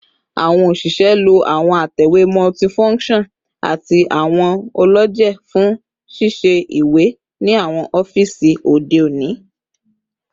Awọn oṣiṣẹ lo awọn atẹwe multifunction ati awọn ọlọjẹ fun sisẹ iwe ni awọn ọfiisi ode oni